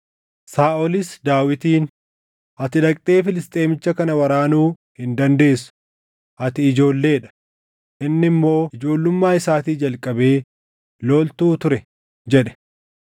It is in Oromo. Saaʼolis Daawitiin, “Ati dhaqxee Filisxeemicha kana waraanuu hin dandeessu; ati ijoollee dha; inni immoo ijoollummaa isaatii jalqabee loltuu ture” jedhe.